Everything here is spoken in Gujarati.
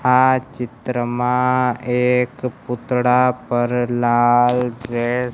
આ ચિત્રમાં એક પૂતળા પર લાલ ડ્રેસ --